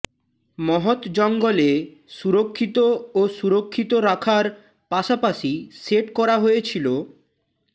মহৎ জঙ্গলে সুরক্ষিত ও সুরক্ষিত রাখার পাশাপাশি সেট করা হয়েছিল